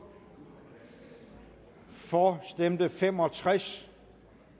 for stemte fem og tres